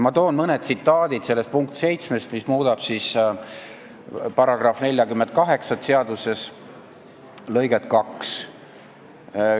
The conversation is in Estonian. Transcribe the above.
Ma räägin sellest punktist 7, mis muudab seaduse § 48 lõiget 2.